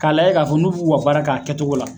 K'a layɛ k'a fɔ n'ub'u k'u ka baara kɛ a kɛtogo la